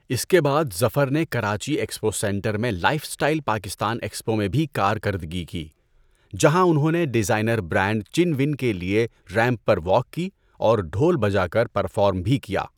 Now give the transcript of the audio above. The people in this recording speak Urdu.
اس کے بعد ظفر نے کراچی ایکسپو سینٹر میں لائف اسٹائل پاکستان ایکسپو میں بھی کارکردگی کی، جہاں انہوں نے ڈیزائنر برانڈ چن ون کے لیے ریمپ پر واک کی اور ڈھول بجا کر پرفارم بھی کیا۔